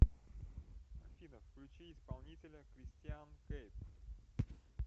афина включи исполнителя кристиан кейп